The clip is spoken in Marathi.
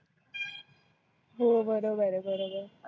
हो बरोबर आहे बरोबर आहे.